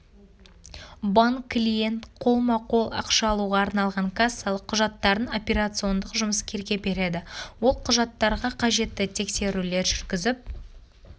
банк клиент қолма-қол ақша алуға арналған кассалық құжаттарын операциондық жұмыскерге береді ол құжаттарға қажетті тексерулер жүргізіп